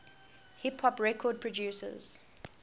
hip hop record producers